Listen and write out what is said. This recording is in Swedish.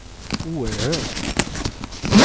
oerhört